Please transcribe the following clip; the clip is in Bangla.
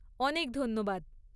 অনেক ধন্যবাদ।